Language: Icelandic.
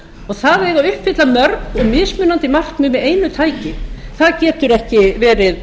og það eiga að uppfylla mörg mismunandi markmið með einu tæki það getur ekki verið